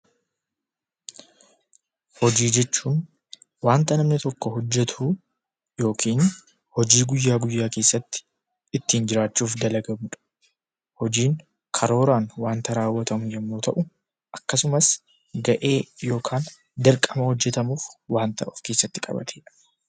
Hojii jechuun wanta namni tokko hojjetu yookiin hojii guyyaa guyyaa keessatti ittiin jiraachuuf dalagamu dha. Hojiin karooraan wanta raawwatamu yommuu ta'u, akkasumas ga'ee yookaan dirqama hojjetamuuf wanta of keessatti qabatee dha.